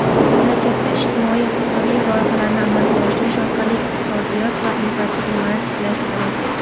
mamlakatda ijtimoiy-iqtisodiy loyihalarni amalga oshirish orqali iqtisodiyot va infratuzilmani tiklash zarur.